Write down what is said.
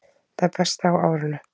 Það besta á árinu